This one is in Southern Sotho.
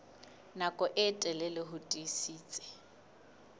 nako e telele ho tiisitse